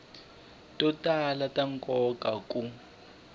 to tala ta nkoka ku